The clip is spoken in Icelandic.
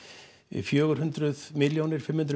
fjögur hundruð milljónir fimm hundruð